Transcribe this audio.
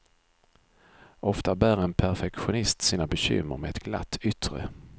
Ofta bär en perfektionist sina bekymmer med ett glatt yttre.